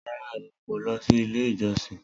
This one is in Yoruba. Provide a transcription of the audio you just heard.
Rara, Emi ko lọ si ile ijọsin.